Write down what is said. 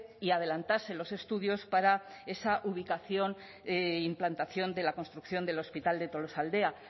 y adelantase los estudios para esa ubicación e implantación de la construcción del hospital de tolosaldea